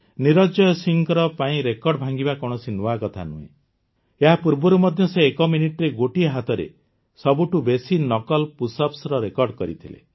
ନିରଞ୍ଜୟ ସିଂହଙ୍କ ପାଇଁ ରେକର୍ଡ ଭାଙ୍ଗିବା କୌଣସି ନୂଆ କଥା ନୁହେଁ ଏହାପୂର୍ବରୁ ମଧ୍ୟ ସେ ଏକ ମିନିଟରେ ଗୋଟିଏ ହାତରେ ସବୁଠୁ ବେଶି ନକଲ୍ ପୁଶ୍ଅପ୍ସର ରେକର୍ଡ କରିଥିଲେ